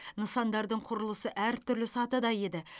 нысандардың құрылысы әр түрлі сатыда еді